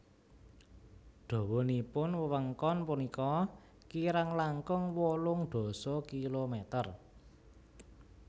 Dawanipun wewengkon punika kirang langkung wolung dasa kilometer